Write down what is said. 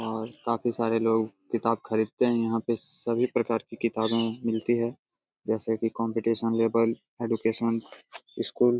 और काफ़ी सारे लोग किताब खरीदते हैं। यहां पे सभी प्रकार की किताबें मिलती है जैसे कि कंपटीशन लेवल एजुकेशन स्कूल --